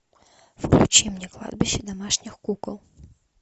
включи мне кладбище домашних кукол